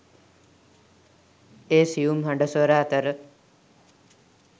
ඒ සියුම් හඬ ස්වර අතර